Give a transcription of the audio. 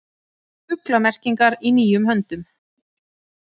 Fuglamerkingar í nýjum höndum